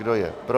Kdo je pro?